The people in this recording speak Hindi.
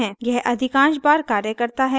यह अधिकांश बार कार्य करता है